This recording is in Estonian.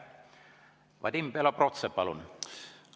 Vadim Belobrovtsev, palun!